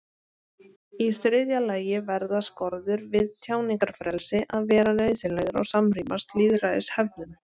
Í þriðja lagi verða skorður við tjáningarfrelsi að vera nauðsynlegar og samrýmast lýðræðishefðum.